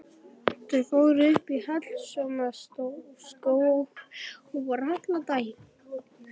Þau fóru upp í Hallormsstaðarskóg og voru allan daginn.